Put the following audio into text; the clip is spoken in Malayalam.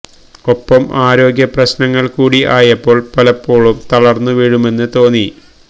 ഒപ്പം ആരോഗ്യ പ്രശ്നങ്ങള് കൂടി ആയപ്പോള് പലപ്പോഴും തളര്ന്നു വീഴുമെന്നു തോന്നി